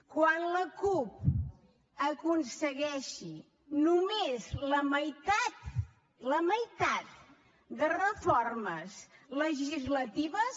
quan la cup aconsegueixi només la meitat la meitat de reformes legislatives